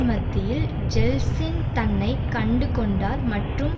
மத்தியில் ஜெல்ட்சின் தன்னை கண்டுகொண்டார் மற்றும்